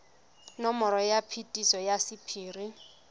nomoro ya phetiso ya sephiri